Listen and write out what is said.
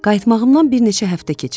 Qayıtmağımdan bir neçə həftə keçib.